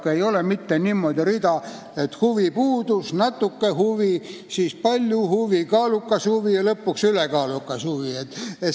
Siin ei ole mitte selline rida, et huvi puudub, natuke huvi, palju huvi, kaalukas huvi ja lõpuks ülekaalukas huvi.